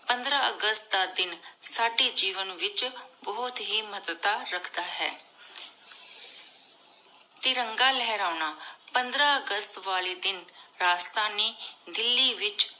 ਪੰਦ੍ਸਾਰ ਅਗਸਤ ਦਾ ਦਿਨ ਡੀ ਜੇਵਾਂ ਵਿਚ ਬੁਹਤ ਹੇ ਮਹਤਵ ਰਾਖਤਾ ਹੈ ਤਿਰੰਗਾ ਲੇਹ੍ਰਾਨਾ ਪੰਦ੍ਰ ਅਗਸਤ ਵਾਲੀ ਦਿਨ ਰਾਸ਼੍ਤਾਨੀ ਦਿੱਲੀ ਵਿਚ